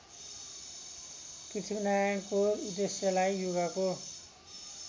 पृथ्वीनारायणको उद्देश्यलाई युगको